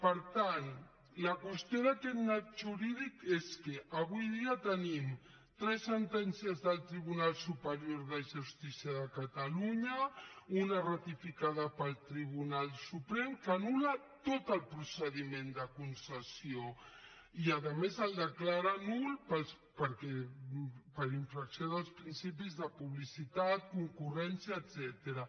per tant la qüestió d’aquest nyap jurídic és que avui dia tenim tres sentències del tribunal superior de justícia de catalunya una ratificada pel tribunal suprem que anul·la tot el procediment de concessió i a més el declara nul per infracció dels principis de publicitat concurrència etcètera